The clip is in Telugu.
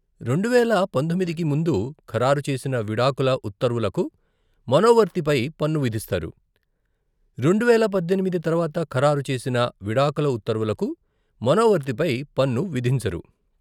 రెండువేల పంతొమ్మిదికి ముందు ఖరారు చేసిన విడాకుల ఉత్తర్వులకు మనోవర్తి పై పన్ను విధిస్తారు, రెండువేల పద్దెనిమిది తర్వాత ఖరారు చేసిన విడాకుల ఉత్తర్వులకు మనోవర్తిపై పన్ను విధించరు.